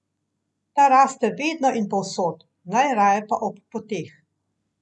Ta raste vedno in povsod, najraje pa ob poteh.